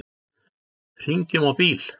Hringjum á bíl.